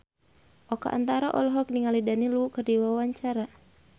Oka Antara olohok ningali Daniel Wu keur diwawancara